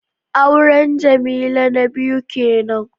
Auren Jamila na biyu kenan